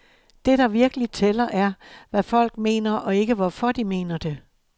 Det, der virkelig tæller, er hvad folk mener og ikke, hvorfor de mener det.